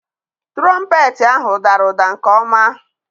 Tụrọmpeetị ahụ dara ụda nke ọma.